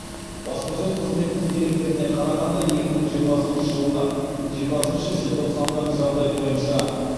баспасөз қызметінің деректеріне қарағанда екі мың жиырмасыншы жылғы жиырмасыншы желтоқсандағы жағдай бойынша